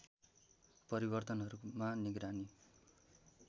परिवर्तनहरूमा निगरानी